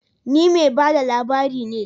Ni mai ba da labari ne